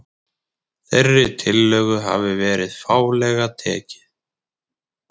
Þeirri tillögu hafi verið fálega tekið